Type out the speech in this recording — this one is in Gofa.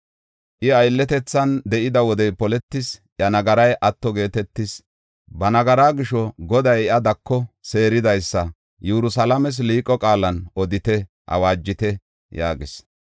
I aylletethan de7ida wodey poletis; iya nagaray atto geetetis; ba nagaraa gisho, Goday iya dako seeridaysa, Yerusalaames liiqo qaalan odite; awaajite” yaagees.